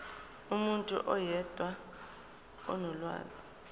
umuntu oyedwa onolwazi